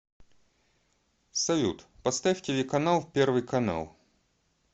салют поставь телеканал первый канал